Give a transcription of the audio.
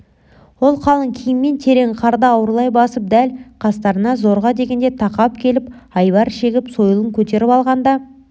ол қалың киіммен терең қарды ауырлай басып дәл қастарына зорға дегенде тақап келіп айбар шегіп сойылын көтеріп алғанда